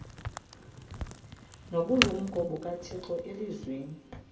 nobulumko bukathixo elizwini